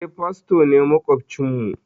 Eh, fasto ne maƙwabcin mu.